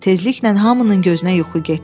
Tezliklə hamının gözünə yuxu getdi.